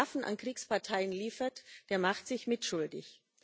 Wer Waffen an Kriegsparteien liefert, der macht sich mitschuldig.